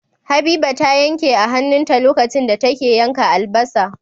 Habiba ta yanke a hanun ta lokacin da ta yanka albasa